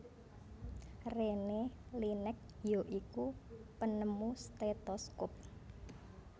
Rene Laennec ya iku penemu stetoskop